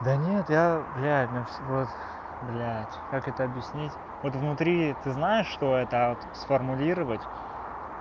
да нет я блядь мне всего то блять как это объяснить вот внутри ты знаешь что это а вот сформулировать